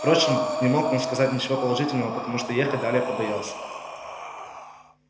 впрочем не мог он сказать ничего положительного потому что ехать далее побоялся